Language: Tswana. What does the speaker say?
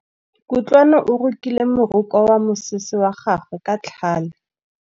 Kutlwanô o rokile morokô wa mosese wa gagwe ka tlhale.